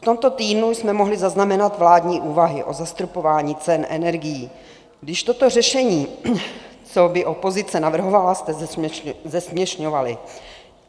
V tomto týdnu jsme mohli zaznamenat vládní úvahy o zastropování cen energií, když toto řešení, co i opozice navrhovala, jste zesměšňovali.